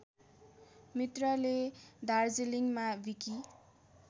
मित्रले दार्जिलिङमा विकि